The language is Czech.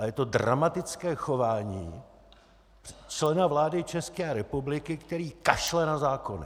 Ale je to dramatické chování člena vlády České republiky, který kašle na zákony!